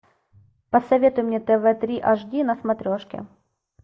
посоветуй мне тв три аш ди на смотрешке